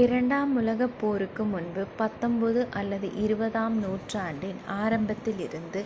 இரண்டாம் உலகப் போருக்கு முன்பு 19 அல்லது 20-ஆம் நூற்றாண்டின் ஆரம்பத்தில் இருந்து